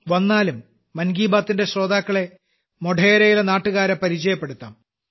വന്നാലും മൻ കി ബാത്തിന്റെ ശ്രോതാക്കളെ മോഢേരയിലെ നാട്ടുകാരെ പരിചയപ്പെടുത്താം